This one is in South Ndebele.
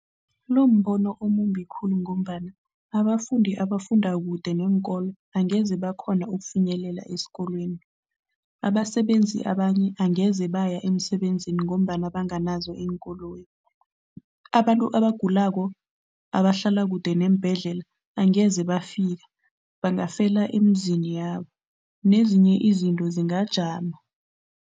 Lo mbono omumbi khulu ngombana abafundi abafunda kude neenkolo angeze bakghona ukufinyelela esikolweni. Abasebenzi abanye angeze baya emsebenzini ngombana banganazo iinkoloyi. Abantu abagulako abahlala kude neembhedlela, angeze bafika, bangafela emizini yabo nezinye izinto zingajama.